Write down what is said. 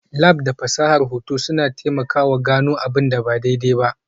Lab da fasahar hoto suna taimakawa gano abin da ba daidai ba.